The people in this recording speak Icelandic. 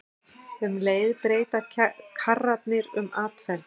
Um leið breyta karrarnir um atferli.